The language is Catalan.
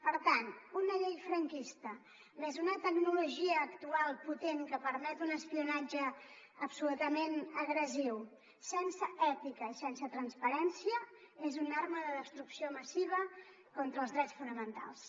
per tant una llei franquista més una tecnologia actual potent que permet un espionatge absolutament agressiu sense ètica i sense transparència és una arma de destrucció massiva contra els drets fonamentals